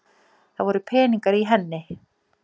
Það voru peningar í henni!